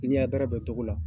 I ɲɛ bɛrɛ bɛn togo la.